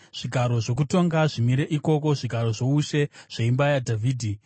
Zvigaro zvokutonga zvimire ikoko, zvigaro zvoushe zveimba yaDhavhidhi.